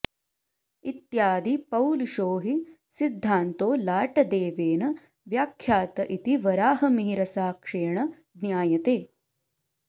इत्यादि पौलिशो हि सिद्धान्तो लाटदेवेन व्याख्यात इति वराहमिहिरसाक्ष्येण ज्ञायते